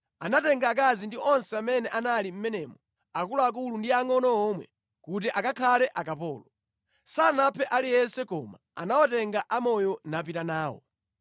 Anatenga akazi ndi onse amene anali mʼmenemo akuluakulu ndi angʼono omwe kuti akakhale akapolo. Sanaphe aliyense koma anawatenga amoyo napita nawo.